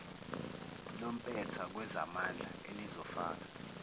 lompetha kwezamandla elizofaka